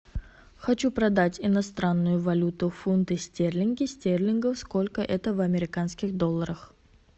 хочу продать иностранную валюту фунты стерлинги стерлингов сколько это в американских долларах